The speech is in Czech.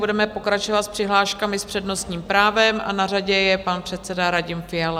Budeme pokračovat s přihláškami s přednostním právem a na řadě je pan předseda Radim Fiala.